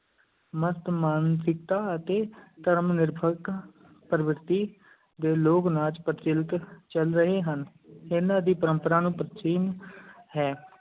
ਮਸਤ-ਮਾਨਸਿਕਤਾ ਅਤੇ ਧਰਮ-ਨਿਰਪੇਖ ਪ੍ਰਵਿਰਤੀ ਦੇ ਲੋਕ-ਨਾਚ ਪ੍ਰਚਲਿਤ ਚੱਲ ਰਹੇ ਹਨ, ਇਹਨਾਂ ਦੀ ਪਰੰਪਰਾ ਨੂੰ ਪ੍ਰਾਚੀਨ ਹੈ।